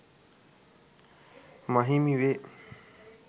ම හිමි වේ.